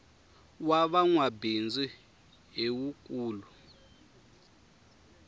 wa va nwabindzu hi wu nkulu